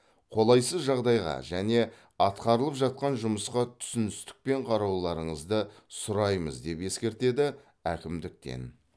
қолайсыз жағдайға және атқарылып жатқан жұмысқа түсіністікпен қарауларыңызды сұраймыз деп ескертеді әкімдіктен